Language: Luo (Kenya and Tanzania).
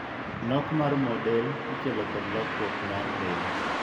Nok mar mooe del ikelo koda lokruok mar del.